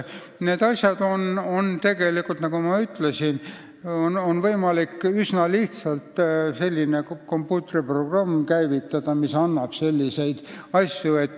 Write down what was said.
Nagu ma ütlesin, on üsna lihtsalt võimalik käivitada selline kompuutriprogramm, mis võimaldab selliseid asju.